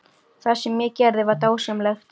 Það sem ég gerði var dásamlegt.